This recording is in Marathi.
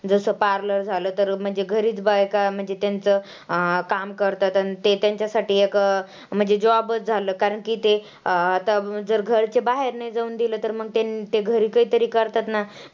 जसं parlor झालं तर म्हणजे घरीच बायका म्हणजे तेंचं अं काम करतात. आणि ते तेंच्यासाठी एक म्हणजे job च झालं कारण की ते अं आता जर घरचे बाहेर नाही जाऊन दिलं तर मग ते घरी काहीतरी करतात ना,